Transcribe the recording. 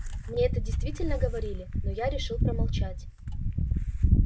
мне это действительно говорили но я решил промолчать